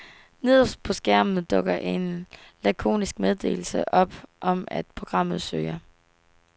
Nederst på skærmen dukker en lakonisk meddelelse op om, at programmet søger.